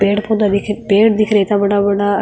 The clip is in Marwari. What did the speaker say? पेड़ पौधा दिख पेड़ दिख रहे है इत्ता बड़ा बड़ा।